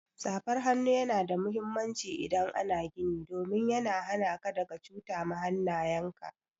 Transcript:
Safar hannu Yana da muhimmanci idan ana gini domin ya hana ka daga cuta ma hannayen ka.